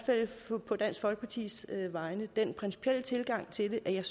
fald på dansk folkepartis vegne den principielle tilgang til det at jeg